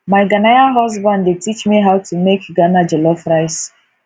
my ghanaian husband dey teach me how to make ghana jollof rice